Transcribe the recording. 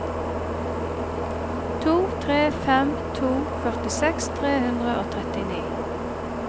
to tre fem to førtiseks tre hundre og trettini